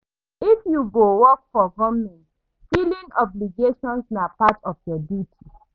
If you dey work for government, filing obligation na part of your duty.